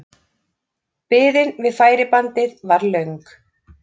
Biðin við færibandið var löng.